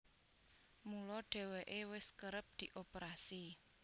Mula dhèwèké wis kerep dioperasi